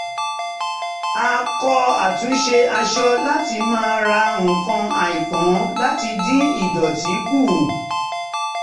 ó kọ́ àtúnṣe aṣọ láti má ra nǹkan àìpọn láti dín ìdọ̀tí kù